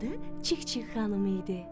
Adı Çik-çik xanım idi.